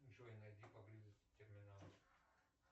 джой найди поблизости терминал